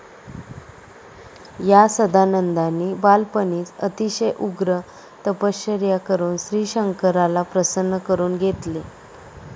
या सदानंदानी बालपणीच आतिशय उग्र तपश्चर्या करून श्रीशंकराला प्रसन्न करून घेतले.